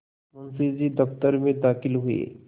मुंशी जी दफ्तर में दाखिल हुए